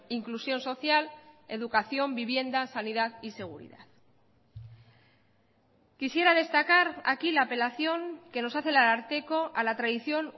inclusión social educación vivienda sanidad y seguridad quisiera destacar aquí la apelación que nos hace el ararteko a la tradición